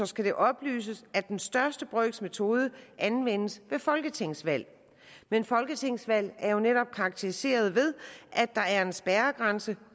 skal det oplyses at den største brøks metode anvendes ved folketingsvalg men folketingsvalg er netop karakteriseret ved at der er en spærregrænse